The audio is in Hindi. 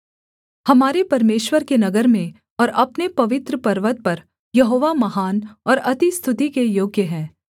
हमारे परमेश्वर के नगर में और अपने पवित्र पर्वत पर यहोवा महान और अति स्तुति के योग्य है सेला